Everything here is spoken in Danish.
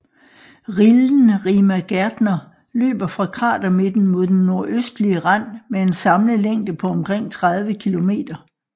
Rillen Rima Gärtner løber fra kratermidten mod den nordøstlige rand med en samlet længde på omkring 30 kilometer